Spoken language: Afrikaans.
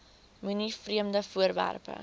moenie vreemde voorwerpe